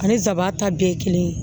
Ani sabanan ta bɛɛ ye kelen ye